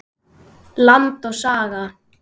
Land og Saga.